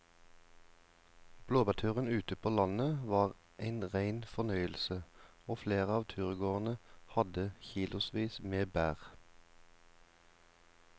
Blåbærturen ute på landet var en rein fornøyelse og flere av turgåerene hadde kilosvis med bær.